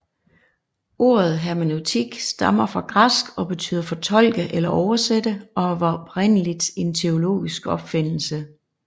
Ordet hermeneutik stammer fra græsk og betyder fortolke eller oversætte og var oprindeligt en teologisk opfindelse